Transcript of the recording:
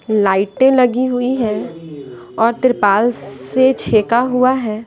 लाइटें लगी हुई हैं और त्रिपाल से छेका हुआ है।